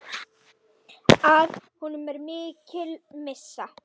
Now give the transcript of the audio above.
Að honum er mikil missa.